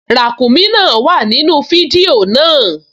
Ràǹkúnmí náà wà nínú fídíò náà